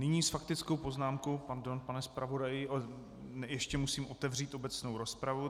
Nyní s faktickou poznámkou - pardon, pane zpravodaji, ještě musím otevřít obecnou rozpravu.